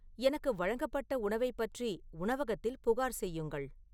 எனக்கு வழங்கப்பட்ட உணவைப் பற்றி உணவகத்தில் புகார் செய்யுங்கள்